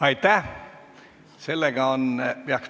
Aitäh!